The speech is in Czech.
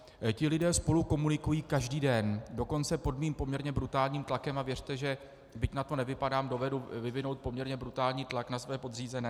Ti lidé spolu komunikují každý den, dokonce pod mým poměrně brutálním tlakem, a věřte, že byť na to nevypadám, dovedu vyvinout poměrně brutální tlak na své podřízené.